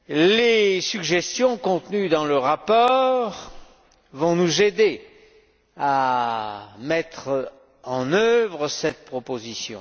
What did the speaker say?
Les suggestions contenues dans le rapport vont nous aider à mettre en œuvre cette proposition.